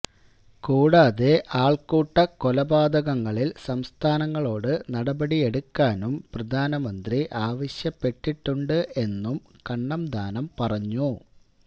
കൂടാതെ ആള്ക്കൂട്ട കൊലപാതകങ്ങളില് സംസ്ഥാനങ്ങളോട് നടപടി എടുക്കാനും പ്രധാനമന്ത്രി ആവശ്യപ്പെട്ടിട്ടുണ്ട് എന്നും കണ്ണന്താനം പറഞ്ഞു